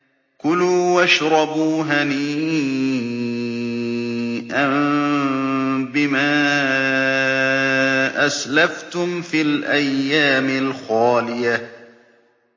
كُلُوا وَاشْرَبُوا هَنِيئًا بِمَا أَسْلَفْتُمْ فِي الْأَيَّامِ الْخَالِيَةِ